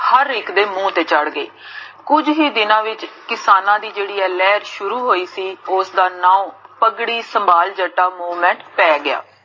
ਹਰ ਇਕ ਦੇ ਮੁਹ ਤੇ ਚੜ੍ਹ ਗਈ, ਕੁਜ ਹੀ ਦਿਨਾ ਵਿਚ ਕਿਸਾਨਾ ਦੀ ਜੇਹੜੀ ਆਹ ਲੇਹਰ ਸ਼ੁਰੂ ਹ੍ਯੀ ਸੀ, ਓਸ ਦਾ ਨਾਮ ਪਗੜੀ ਸੰਬਾਲ ਜੱਟਾ ਪੈ ਗਿਆ